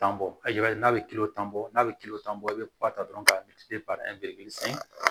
Tan bɔ i b'a ye n'a bɛ kiliyan bɔ n'a bɛ tan bɔ i bɛ kɔ ta dɔrɔn ka san